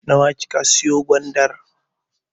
Nawa kika siyo gwandar?